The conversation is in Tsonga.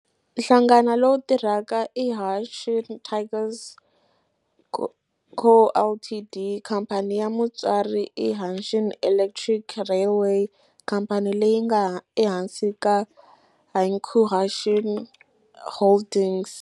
Nhlangano lowu tirhaka i Hanshin Tigers Co., Ltd. Khamphani ya mutswari i Hanshin Electric Railway, khamphani leyi nga ehansi ka Hankyu Hanshin Holdings.